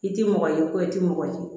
I tɛ mɔgɔ ye ko i tɛ mɔgɔ ye